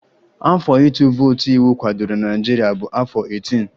Afọ ịtụ vootu iwu kwadoro na Naịjirịa bụ afọ 18